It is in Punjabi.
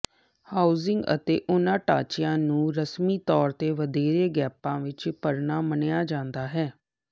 ਹਾਉਜ਼ਿੰਗ ਅਤੇ ਉਨ੍ਹਾਂ ਢਾਂਚਿਆਂ ਨੂੰ ਰਸਮੀ ਤੌਰ ਤੇ ਵਧੇਰੇ ਗੈਪਾਂ ਵਿਚ ਭਰਨਾ ਮੰਨਿਆ ਜਾਂਦਾ ਹੈ